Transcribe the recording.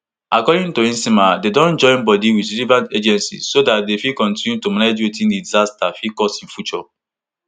according to nsema dem dey join body wit relevant agencies so dat dem fit continue to manage wetin di disaster fit cause in future